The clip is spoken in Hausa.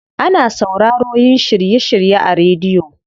Ana sauraroyin shiry shirye a rediyo.